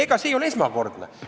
Ega see ei ole esmakordne.